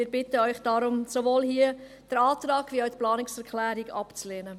Wir bitten Sie deshalb, sowohl den Antrag als auch die Planungserklärung abzulehnen.